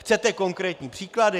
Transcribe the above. Chcete konkrétní příklady?